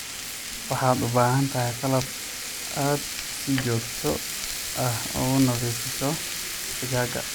Waxaad u baahan tahay qalab aad si joogto ah u nadiifiso digaagga.